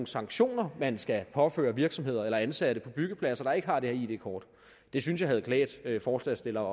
sanktioner man skal påføre virksomheder eller ansatte på byggepladser der ikke har de her id kort det synes jeg havde klædt forslagsstillerne